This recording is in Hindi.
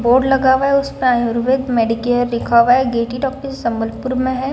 बोर्ड लगा हुआ है। उसपे आयुर्वेद मेडिकेयर लिखा हुआ है। गेटी डॉक्टर संभलपुर में हैं।